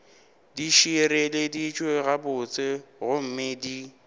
di šireleditšwe gabotse gomme di